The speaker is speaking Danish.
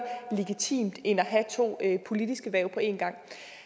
legitimt end at have to politiske hverv på en gang